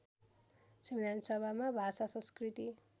संविधानसभामा भाषा संस्कृति